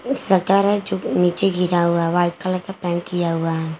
एक शटर है जो कि नीचे गिरा हुआ है व्हाइट कलर का पेंट किया हुआ है।